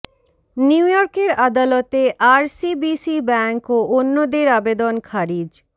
new ইয়র্কের আদালতে RCBC bank ও অন্যদের আবেদন খারিজ